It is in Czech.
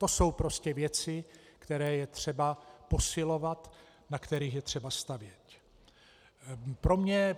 To jsou prostě věci, které je třeba posilovat, na kterých je třeba stavět.